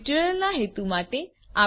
આ ટ્યુટોરીયલના હેતુ માટે